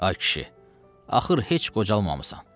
Ay kişi, axır heç qocalmamısan.